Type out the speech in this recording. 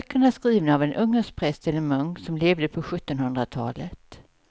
Böckerna är skrivna av en ungersk präst eller munk som levde på sjuttonhundratalet.